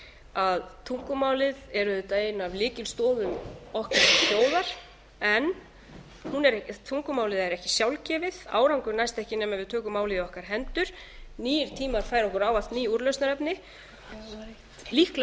að tungumálið er ein af lykilstoðum okkar sem þjóðar en tungumálið er ekki sjálfgefið árangur næst ekki nema við tökum málið í okkar hendur nýir tímar færa okkar ávallt ný úrlausnarefni líklega verðum